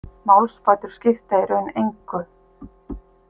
Málsbætur skipta í raun engu.